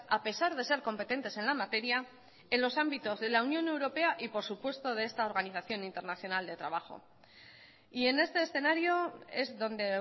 a pesar de ser competentes en la materia en los ámbitos de la unión europea y por supuesto de esta organización internacional de trabajo y en este escenario es donde